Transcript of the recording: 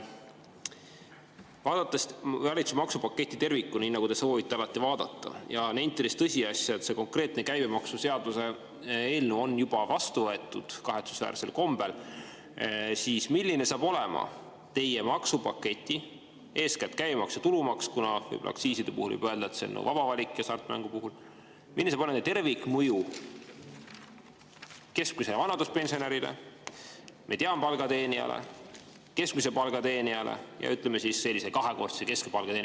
Vaadates valitsuse maksupaketti tervikuna, nii nagu te soovite alati vaadata, ja nentides tõsiasja, et konkreetne käibemaksuseaduse eelnõu on kahetsusväärsel kombel juba vastu võetud, siis milline saab olema teie maksupaketi – eeskätt käibemaks ja tulumaks, kuna võib-olla aktsiiside puhul võib öelda, et see on vaba valik, ka hasartmängu puhul – tervikmõju keskmisele vanaduspensionärile, mediaanpalga teenijale, keskmise palga teenijale ja sellise kahekordse keskmise palga teenijale?